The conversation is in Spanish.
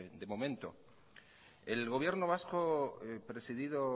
de momento el gobierno vasco presidido